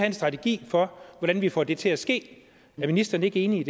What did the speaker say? en strategi for hvordan vi får det til at ske er ministeren ikke enig